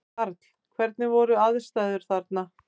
Karl: Hvernig voru aðstæður þarna?